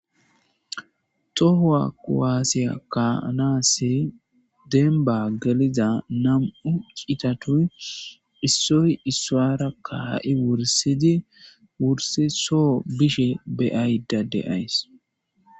Tohuwa kuwasiya kayanassi demibbani geliza nam'u cittati isoyi isuwara ka'i wurisidi wuris soo bishin beyada deyayissi.